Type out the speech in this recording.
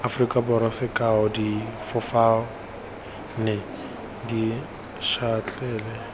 aforika borwa sekao difofane dišatlelle